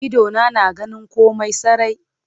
Idona na ganin komai sarai.